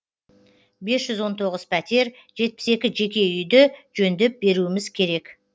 бес жүз он тоғыз пәтер жетпіс екі жеке үйді жөндеп беруіміз керек